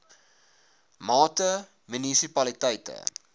mate munisipaliteite a